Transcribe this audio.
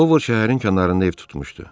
Ovud şəhərin kənarında ev tutmuşdu.